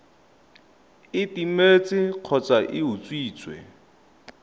e timetse kgotsa e utswitswe